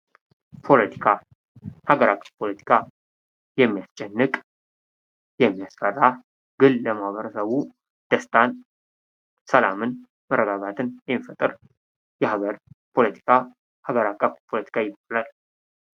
ፖለቲካ የሀገራችን ፖለቲካ የሚያስጨንቅ ፣የሚያስፈራ ግን ለማህበረሰቡ ደስታን፣ ሰላምን ፣መረጋጋትን የሚፈጥር የሀገር ፖለቲካ ሀገር አቀፍ ፖለቲካ ይባላል።